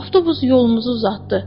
Avtobus yolumuzu uzatdı.